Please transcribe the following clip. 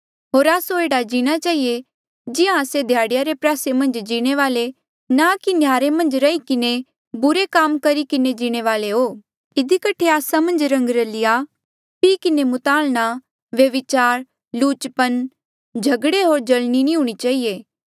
होर आस्सो एह्ड़े जीणा चहिए जिहां आस्से ध्याड़ीया रे प्रयासे मन्झ जीणे वाले ना कि न्याहरे मन्झ रही किन्हें बुरे काम करी किन्हें जीणे वाले इधी कठे आस्सा मन्झ रंगरलिया पी किन्हें मुतालणा व्यभिचार लुचपना झगड़े होर जल्नी नी हूणीं चहिए